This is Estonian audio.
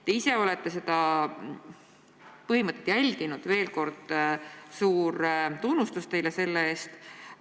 Te ise olete seda põhimõtet järginud – veel kord suur tunnustus teile selle eest!